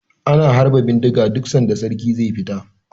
Ana harba bindiga duk sanda sarki ze fita